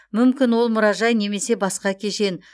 мүмкін ол мұражай немесе басқа кешен